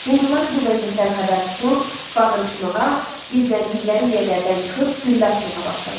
Hindular bu vəziyyətdən xəbər tutub bağırışmağa, gizləndikləri yerlərdən çıxıb güllə atmağa başladılar.